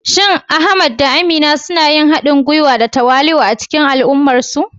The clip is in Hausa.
Shin Ahmad da Amina suna yin haɗin gwiwa da tawali'u a cikin al'ummarsu?